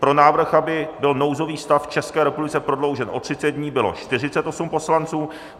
Pro návrh, aby byl nouzový stav v České republice prodloužen o 30 dní, bylo 48 poslanců.